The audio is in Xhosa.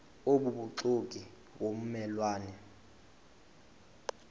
obubuxoki ngomme lwane